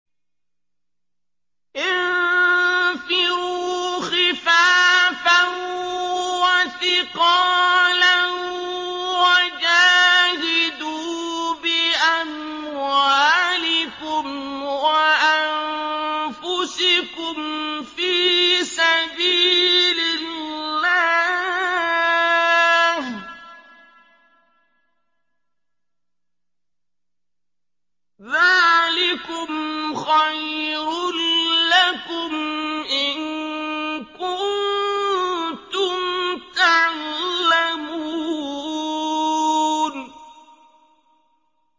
انفِرُوا خِفَافًا وَثِقَالًا وَجَاهِدُوا بِأَمْوَالِكُمْ وَأَنفُسِكُمْ فِي سَبِيلِ اللَّهِ ۚ ذَٰلِكُمْ خَيْرٌ لَّكُمْ إِن كُنتُمْ تَعْلَمُونَ